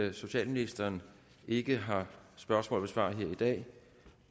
at socialministeren ikke har spørgsmål at besvare her i dag